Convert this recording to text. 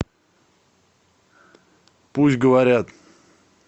пусть говорят